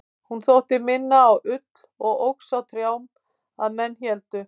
hún þótti minna á ull og óx á trjám að menn héldu